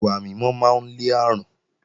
Ìwà mímọ́ máa ń lé àrùn